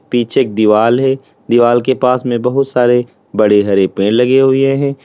पीछे एक दीवाल है दीवाल के पास में बहुत सारे बड़े हरे पेड़ लगे हुए हैं।